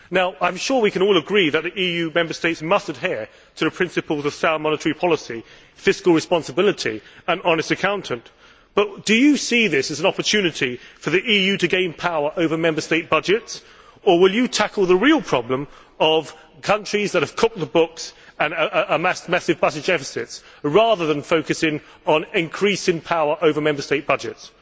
Now I am sure we can all agree that the EU Member States must adhere to the principles of sound monetary policy, fiscal responsibility and honest accounting, but do you see this as an opportunity for the EU to gain power over Member State budgets, or will you tackle the real problem of countries that have cooked the books and amassed massive budget deficits, rather than focusing on increasing power over Member State budgets?